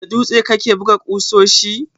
Da dutse kake buga ƙusoshi?